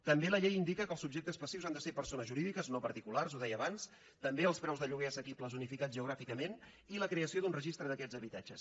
també la llei indica que els subjectes passius han de ser persones jurídiques no particulars ho deia abans també els preus de lloguer assequibles unificats geogràficament i la creació d’un registre d’aquests habitatges